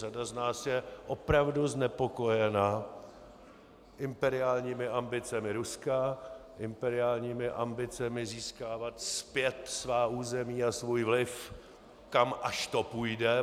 Řada z nás je opravdu znepokojena imperiálními ambicemi Ruska, imperiálními ambicemi získávat zpět svá území a svůj vliv, kam až to půjde.